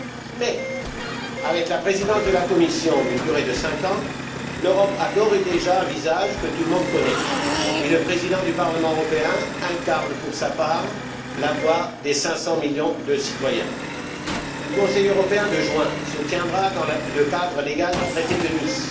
Mais, avec une présidence de la Commission d'une durée de cinq ans, l'Europe a d'ores et déjà un visage que tout le monde connaît et le président du Parlement européen incarne, pour sa part, la voix des 500 millions de citoyens. Le Conseil européen de juin se tiendra dans le cadre légal du traité de Nice.